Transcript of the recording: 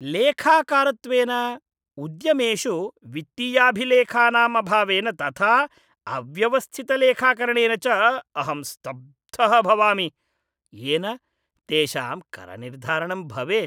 लेखाकारत्वेन, उद्यमेषु वित्तीयाभिलेखानां अभावेन तथा अव्यवस्थितलेखाकरणेन च अहं स्तब्धः भवामि, येन तेषां करनिर्धारणं भवेत्।